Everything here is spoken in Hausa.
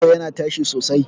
Shaho yana tashi sosai.